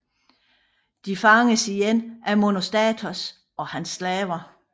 De fanges igen af Monostatos og hans slaver